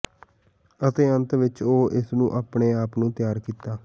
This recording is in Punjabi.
ਅਤੇ ਅੰਤ ਵਿਚ ਉਹ ਇਸ ਨੂੰ ਆਪਣੇ ਆਪ ਨੂੰ ਤਿਆਰ ਕੀਤਾ